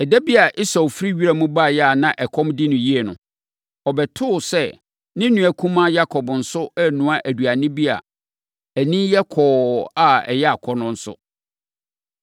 Ɛda bi a Esau firi wiram baeɛ a na ɛkɔm de no yie no, ɔbɛtoo sɛ ne nua kumaa Yakob nso renoa aduane bi a ani yɛ kɔkɔɔ na ɛyɛ akɔnnɔ nso.